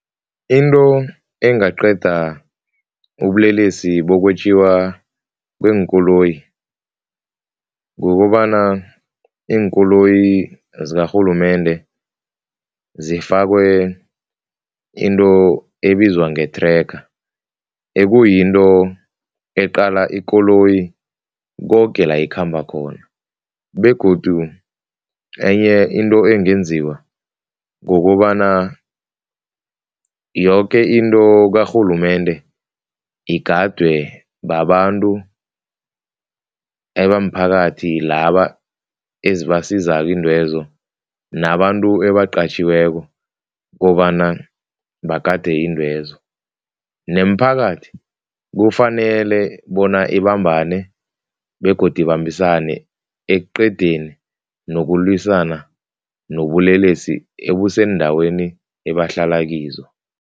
Into engaqeda ubulelesi bokwetjiwa kweenkoloyi kukobana iinkoloyi zakarhulumende zifakwe into ebizwa nge-tracker, ekuyinto eqale ikoloyi koke la ikhamba khona begodu enye into engenziwa ngokobana yoke into karhulumende igadwe babantu ebamphakathi laba ezibasizako iintwezo nabantu ebaqatjhiweko kobana bagade iintwezo, nemiphakathi kufanele bona ibambane begodu ibambisane ekuqedeni nokulwisana nobulelesi ebuseendaweni ebahlala kizo.